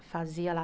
fazia lá